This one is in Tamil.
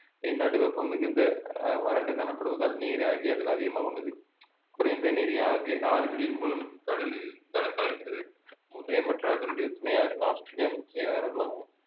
இந்நாடு வெப்பம் மிகுந்த அஹ் வறண்டு காணப்படுவதால் நீராவியாதல் அதிகமாக உள்ளது குறைந்த நீரே ஆவி~ ஆறுகளின் மூலம் கடலில் கலக்~ கலக்கிறது முர்ரே மற்றும் அதனுடைய துணை ஆறுகள் ஆஸ்திரேலியா முக்கிய ஆறுகளாகும்